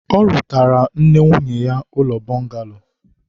ọ rụtaara nne nwunye ya ụlọ bọngalo